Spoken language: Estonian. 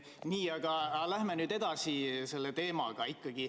Nii, aga lähme nüüd edasi selle teemaga.